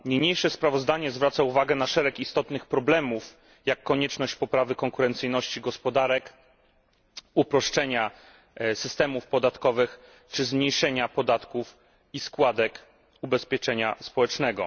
Niniejsze sprawozdanie zwraca uwagę na szereg istotnych problemów, takich jak konieczność poprawy konkurencyjności gospodarek, uproszczenia systemów podatkowych czy zmniejszenia podatków i składek ubezpieczenia społecznego.